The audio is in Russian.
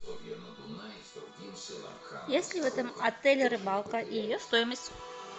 есть ли в этом отеле рыбалка и ее стоимость